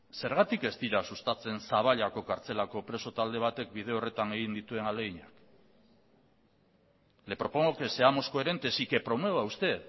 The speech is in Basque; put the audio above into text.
zergatik ez dira sustatzen zaballako kartzelako preso talde batek bide horretan egin dituen ahaleginak le propongo que seamos coherentes y que promueva usted